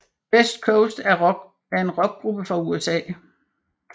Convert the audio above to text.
Best Coast er en Rockgruppe fra USA